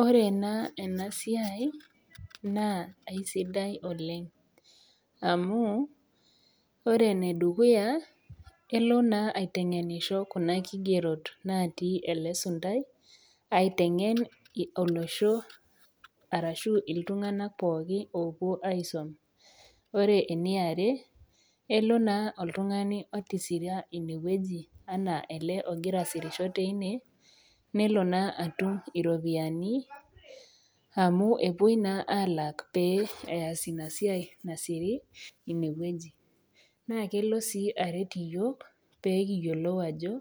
Ore naa ena siai naa aisidai oleng' amu ore ene dukuya naa elo naa aiteng'enisho Kuna kigerot natii ele suntao, aiteng'en olosho arashu iltung'ana pooki oopuo aisum, ore ene are, elo naa oltung'ani otisira ine wueji anaa ele ogira asirisho teine, nelo naa atum iropiani amu epuoi naa alak pee eas Ina siai nasiei ine wueji, naa kelo sii aret iyiok, ajo